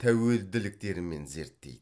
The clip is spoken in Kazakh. тәуелділіктерімен зерттейді